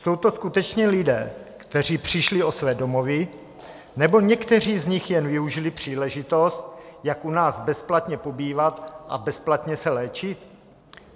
Jsou to skutečně lidé, kteří přišli o své domovy, nebo někteří z nich jen využili příležitost, jak u nás bezplatně pobývat a bezplatně se léčit?